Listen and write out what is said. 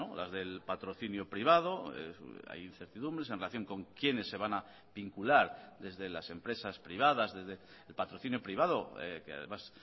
las del patrocinio privado hay incertidumbres en relación con quiénes se van a vincular desde las empresas privadas desde el patrocinio privado que además